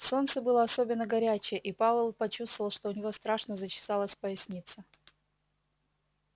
солнце было особенно горячее и пауэлл почувствовал что у него страшно зачесалась поясница